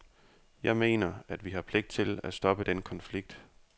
Jeg mener, at vi har pligt til at stoppe den konflikt.